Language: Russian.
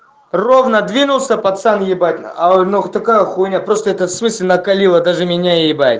ровно двинулся пацан ебать а нахуй такая хуйня просто это в смысле накалило даже меня ебать